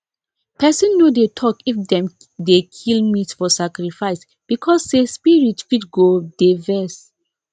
person no dey talk if dem dey kill meat for sacrifice because say spirit fit go dey vex